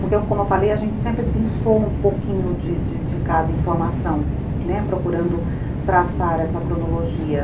Porque, como eu falei, a gente sempre pensou um pouquinho de de de cada informação, né, procurando traçar essa cronologia.